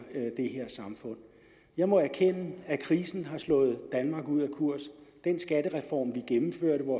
det her samfund jeg må erkende at krisen har slået danmark ud af kurs den skattereform vi gennemførte hvor